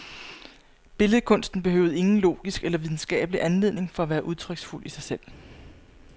Billedkunsten behøvede ingen logisk eller videnskabelig anledning for at være udtryksfuld i sig selv.